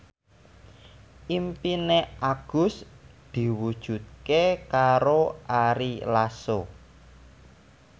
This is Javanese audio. impine Agus diwujudke karo Ari Lasso